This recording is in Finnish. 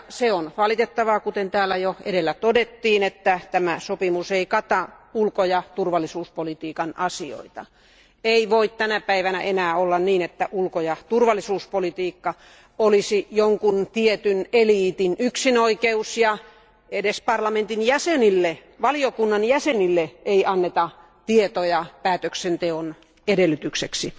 On valitettavaa, kuten täällä jo edellä todettiin, että tämä sopimus ei kata ulko ja turvallisuuspolitiikan asioita. Ei voi tänä päivänä enää olla niin, että ulko ja turvallisuuspolitiikka olisi jonkun tietyn eliitin yksinoikeus eikä edes parlamentin jäsenille, valiokunnan jäsenille, anneta tietoja päätöksenteon edellytykseksi.